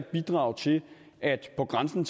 bidrage til på grænsen